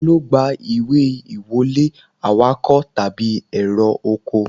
Ta ló gba ìwé ìwọlé, awakọ̀ tàbí èrò ọkọ̀